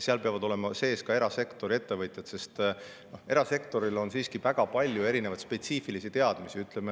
Seal peavad olema sees ka erasektori ettevõtjad, sest erasektoris on siiski väga palju spetsiifilisi teadmisi.